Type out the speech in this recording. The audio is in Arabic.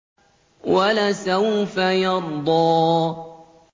وَلَسَوْفَ يَرْضَىٰ